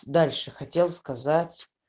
дальше хотел сказать